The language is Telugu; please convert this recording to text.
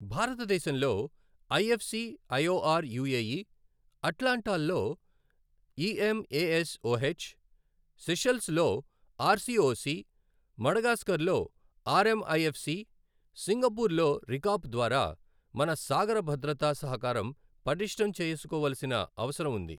భారతదేశంలో ఐఎఫ్ సి ఐఓఆర్ యుఏఇ, అట్లాంటాల్లో ఇఎంఏఎస్ఓహెచ్, సిషెల్స్ లో ఆర్ సిఓసి, మడగాస్కర్లో ఆర్ఎంఐఎఫ్ సి, సింగపూర్ లో రికాప్ ద్వారా మన సాగర భద్రతా సహకారం పటిష్ఠం చేసుకోవలసిన అవసరం ఉంది.